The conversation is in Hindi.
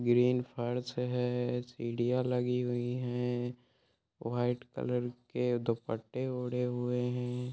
ग्रीन फर्श है सीढ़ियां लगी हुई हैं व्हाइट कलर के दोपट्टे ओढ़े हुए हैं।